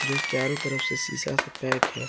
चारों तरफ से शिशा से पैक है।